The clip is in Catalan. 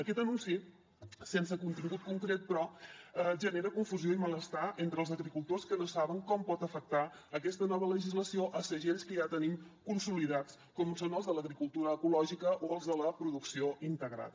aquest anunci sense contingut concret però genera confusió i malestar entre els agricultors que no saben com pot afectar aquesta nova legislació segells que ja tenim consolidats com són els de l’agricultura ecològica o els de la producció integrada